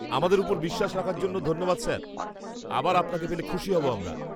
আমাদের ওপর বিশ্বাস রাখার জন্য ধন্যবাদ, স্যার। আবার আপনাকে পেলে খুশি হব আমরা।